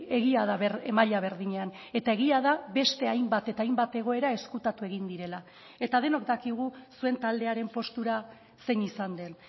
egia da maila berdinean eta egia da beste hainbat eta hainbat egoera ezkutatu egin direla eta denok dakigu zuen taldearen postura zein izan den